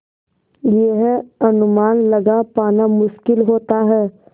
यह अनुमान लगा पाना मुश्किल होता है